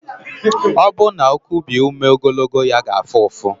Ọ bụrụ na o kubie ume ogologo ya ga-afụ ụfụ.